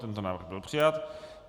Tento návrh byl přijat.